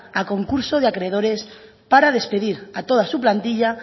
a concurso de acreedores para despedir a toda su plantilla